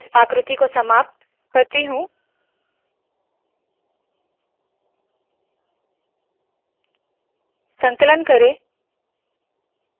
मैं इस आकृति को समाप्त करती हूँ संकलन करे